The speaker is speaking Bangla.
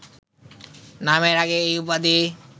নামের আগে এই উপাধি